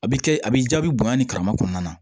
A bɛ kɛ a bɛ jaabi bonya ni karama kɔnɔna na